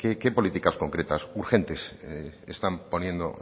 qué políticas concretas urgentes están poniendo